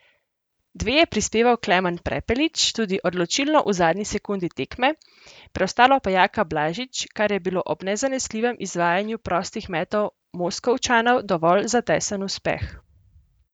Dve je prispeval Klemen Prepelič, tudi odločilno v zadnji sekundi tekme, preostalo pa Jaka Blažič, kar je bilo ob nezanesljivem izvajanju prostih metov Moskovčanov dovolj za tesen uspeh.